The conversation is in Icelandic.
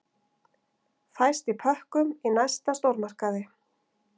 Fæst í pökkum í næsta stórmarkaði.